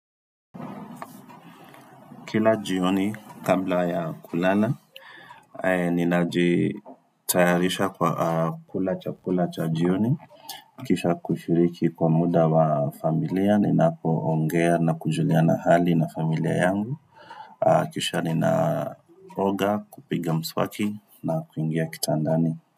Kila jioni, kabla ya kulala, ninajitayarisha kwa kula chakula cha jioni, kisha kushiriki kwa muda wa familia, ninapoongea na kujuliana hali na familia yangu, kisha ninaoga kupiga mswaki na kuingia kitandani.